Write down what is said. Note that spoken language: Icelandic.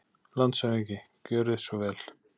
LANDSHÖFÐINGI: Gjörið svo vel.